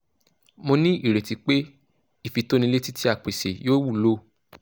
mo ní ìrètí pé ìfitónilétí tí a pèsè yóò wúlò